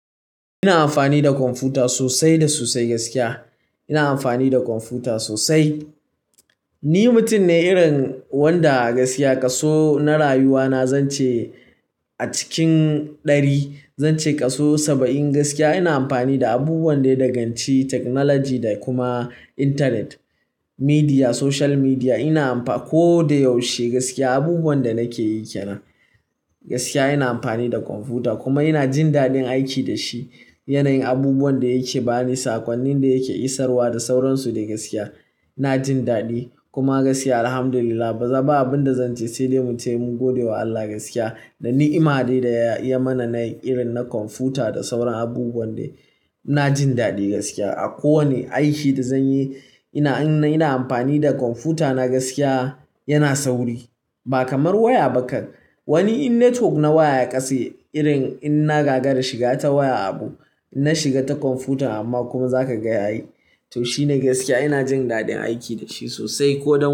Ina amfani da kwamfuta sosai da sosai gaskiya. Ina amfani da kwamfuta sosai. Ni mutum ne irin wanda a gaskiya kaso na rayuwa na zance a cikin ɗari, zance kaso saba'in gaskiya ina amfani da abubuwan da ya daganci technology da kuma intanet, media, social media. Ina amfani ko da yaushe gaskiya abubuwan da nake yi ke nan gaskiya ina amfani da kwamfuta kuma ina jin daɗin aiki da shi. Yanayin abubuwan da yake bani, saƙonnin da yake isarwa da sauransu da gaskiya ina jin daɗi kuma gaskiya Alhamdulillah ba abinda zan ce sai dai muce mun gode wa Allah gaskiya da ni'ima dai da ya iya mana na irin na kwamfuta da sauran abubuwan dai ina jin daɗi gaskiya. A kowane aiki da zanyi ina, ina amfani da kwamfuta na gaskiya yana sauri ba kamar waya ba kan. Wani in network na waya ya ƙase irin in na gaga da shiga ta waya abu, in na shiga ta kwamfuta amma kuma zaka ga yayi. To shine gaskiya ina jin daɗin aiki dashi sosai ko da.